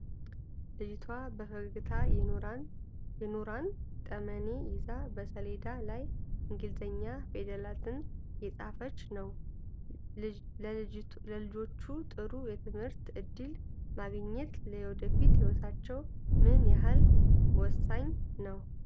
ልጅቷ በፈገግታ የኖራን ጠመኔ ይዛ በሰሌዳ ላይ እንግሊዝኛ ፊደላትን እየጻፈች ነው። ለልጆች ጥሩ የትምህርት ዕድል ማግኘት ለወደፊት ህይወታቸው ምን ያህል ወሳኝ ነው?